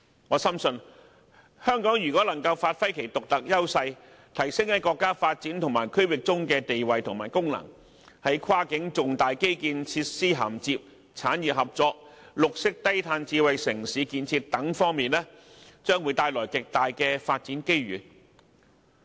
我深信，如果香港能夠發揮其獨特優勢，提升其在國家發展和區域合作中的地位和功能，那麼在跨境重大基建設施涵接、產業合作、綠色低碳智慧城市建設等方面，它將會獲得極大發展機遇。